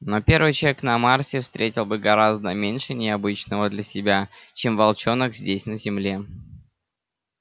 но первый человек на марсе встретил бы гораздо меньше необычного для себя чем волчонок здесь на земле